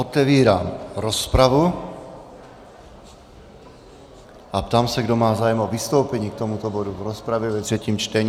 Otevírám rozpravu a ptám se, kdo má zájem o vystoupení k tomuto bodu v rozpravě ve třetím čtení.